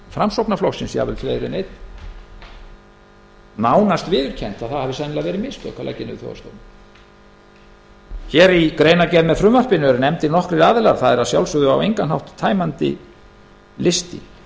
framsóknarflokksins jafnvel fleiri en einn nánast viðurkennt að sennilega hafi það verið mistök að leggja þjóðhagsstofnun niður í greinargerð með frumvarpinu eru nefndir nokkrir aðilar það er að sjálfsögðu á engan hátt tæmandi listi þar